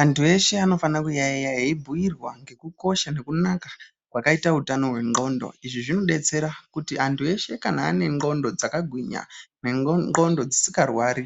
Antu eshe anofanira kuyaiya eibhuirwangekukosha nekunaka kwakaita utano wendxondo izvi zvodetsera kuti kana antu eshe ane ndxondo dzakagwinya nendxondo dzisingarwari